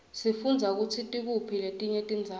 sifundza kutsi tikuphi letinye tindzawo